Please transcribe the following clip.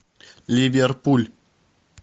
ливерпуль